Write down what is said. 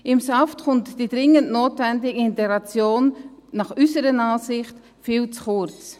Im SAFG kommt die dringend notwendige Integration unserer Ansicht nach viel zu kurz.